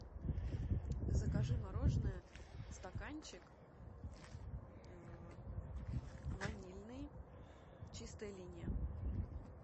закажи мороженое стаканчик ванильный чистая линия